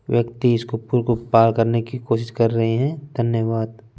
व्यक्ति इसको पूल को पार करने करने की कोशिश कर रहे है धन्यवाद ।